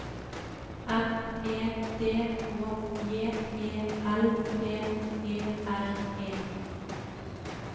M E D H J E L P E R E